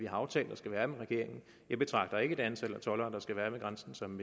aftalt der skal være med regeringen jeg betragter ikke det antal toldere der skal være ved grænsen som